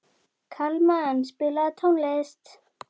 Kalman, spilaðu tónlist.